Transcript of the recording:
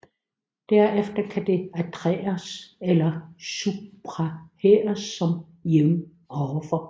Derefter kan de adderes eller subtraheres som nævnt ovenfor